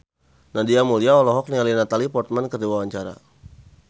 Nadia Mulya olohok ningali Natalie Portman keur diwawancara